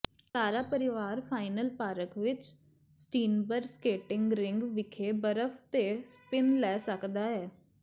ਸਾਰਾ ਪਰਿਵਾਰ final park ਵਿਚ ਸਟੀਨਬਰਗ ਸਕੇਟਿੰਗ ਰਿੰਕ ਵਿਖੇ ਬਰਫ਼ ਤੇ ਸਪਿਨ ਲੈ ਸਕਦਾ ਹੈ